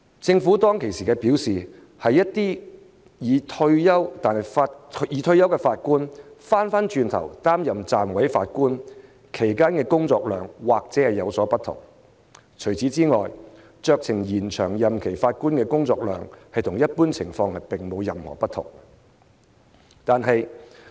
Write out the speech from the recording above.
政府當時表示，一些已退休但再擔任暫委法官的法官，其工作量或許有所不同，除此之外，酌情延長任期法官的工作量與一般法官並無任何不同。